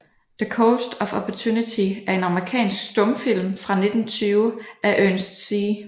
The Coast of Opportunity er en amerikansk stumfilm fra 1920 af Ernest C